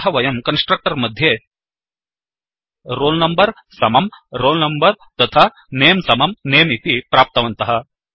अतः वयं कन्स्ट्रक्टर् मध्ये160 roll number समं roll number तथा nameसमं नमे इति प्राप्तवन्तः